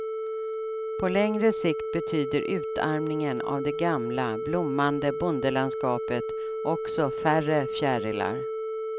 På längre sikt betyder utarmningen av det gamla, blommande bondelandskapet också färre fjärilar.